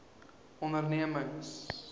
ondernemings